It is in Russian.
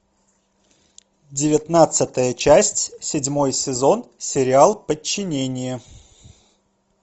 девятнадцатая часть седьмой сезон сериал подчинение